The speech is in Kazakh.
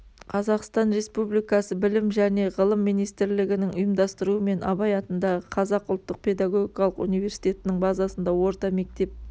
қазақстан республикасы білім және ғылым министрлігінің ұйымдастыруымен абай атындағы қазақ ұлттық педагогикалық университетінің базасында орта мектеп